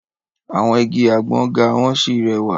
Àwọn igi àgbọ ga wọ́n sì rẹwà.